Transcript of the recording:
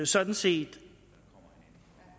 sådan set